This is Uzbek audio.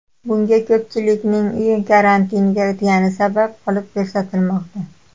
Bunga ko‘pchilikning uy karantiniga o‘tgani sabab qilib ko‘rsatilmoqda.